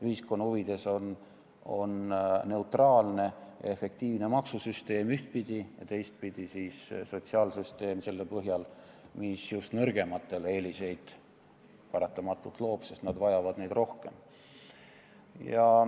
Ühiskonna huvides on ühtpidi neutraalne, efektiivne maksusüsteem ja teistpidi sotsiaalsüsteem, mis just nõrgematele paratamatult eeliseid loob, sest nad vajavad neid rohkem.